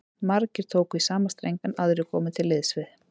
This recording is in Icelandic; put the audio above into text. Margir tóku í sama streng, en aðrir komu til liðs við